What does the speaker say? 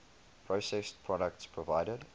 processed products provided